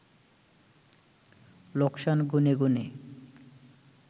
লোকসান গুণে গুণে